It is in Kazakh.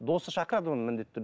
досы шақырады оны міндетті түрде